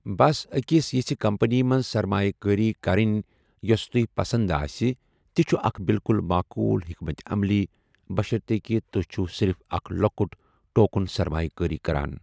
بس أکِس یِژھِ کمپنی منٛز سرمایہِ کٲری کرٕنۍ یوٚس تۄہہِ پسند آسہِ تہِ چھُ اکھ بالکل معقوٗل حکمتہِ عملی، بشرطیکہِ تُہۍ چھِو صرف اکھ لۄکُٹ، ٹوکن سرمایہِ کٲری کران۔